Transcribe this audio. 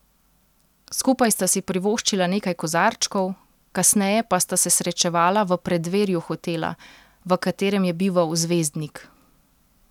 Skupaj sta si privoščila nekaj kozarčkov, kasneje pa sta se srečala v preddverju hotela, v katerem je bival zvezdnik.